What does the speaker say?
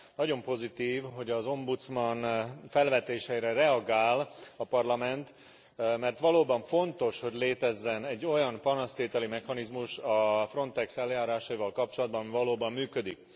Nagyon pozitív, hogy az Ombudsman felvetéseire reagál a Parlament, mert valóban fontos, hogy létezzen egy olyan panasztételi mechanizmus a Frontex eljárásaival kapcsolatban, ami valóban működik.